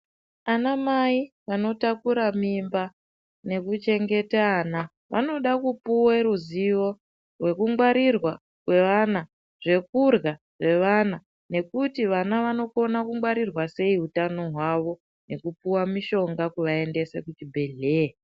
Ana mai vanotakura mimba nekuchengete ana vanoda kupuwe ruziwo rwekungwarirwa kweana zvekurya kwevana nekuti vana anongwarirwa sei utano hwawo nekupuwe mushonga kuvaendese kuchibhedhleya.